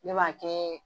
Ne b'a kɛ